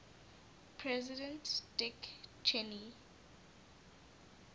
president dick cheney